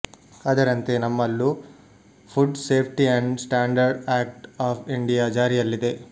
ಅದರಂತೆ ನಮ್ಮಲ್ಲೂ food safety and standard act of India ಜಾರಿಯಲ್ಲಿದೆ